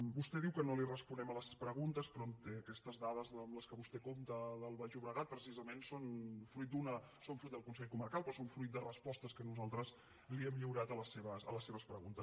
vostè diu que no li responem a les preguntes però aquestes dades amb què vostè compta del baix llobregat precisament són fruit del consell comarcal però són fruit de respostes que nosaltres li hem lliurat a les seves preguntes